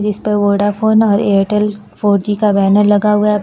इस पर वोडाफोन और एयरटेल फ़ोर जी का बैनर लगा हुआ है।